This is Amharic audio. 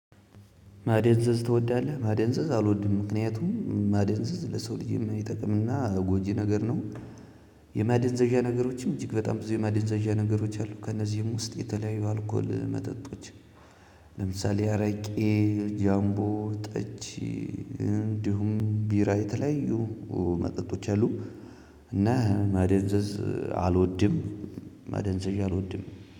ማደንዘዝ ትወዳለህ ማደንዘዝ አልወድም ምክንያቱም ማደንዘዝ ለሰው ልጅ ማይጠቅም እና ጎጂ ነገር ነው። የማደንዘዣ ነገሮች እጅግ በጣም ብዙ የማደንዘዣ ነገሮች አሉ ከነዚም ውስጥ የተለያዩ አልኮል መጠጦች። ለምሳሌ አረቄ ጃምቦ ጠጅ እንዲሁም ቢራ የተለያዩ መጠጦች አሉ። እና ማደንዘዝ አልወድም። ማደንዘዣ አልወድም